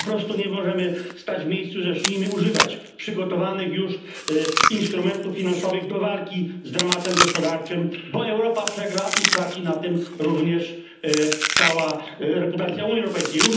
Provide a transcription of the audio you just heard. Po prostu nie możemy stać w miejscu. Zacznijmy używać przygotowanych już instrumentów finansowych do walki z dramatem gospodarczym, bo Europa przegra i straci na tym również cała reputacja Unii Europejskiej.